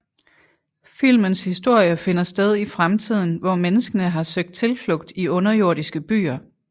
Filmens historie finder sted i fremtiden hvor menneskene har søgt tilflugt i underjordiske byer